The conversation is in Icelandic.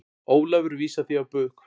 Ólafur vísar því á bug.